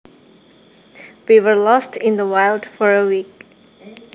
We were lost in the wild for a week